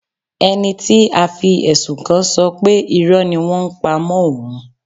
Ẹni tí a fi ẹ̀sùn kàn ṣọ pé Irọ́ ni wọ́n ń pa mọ́ òun.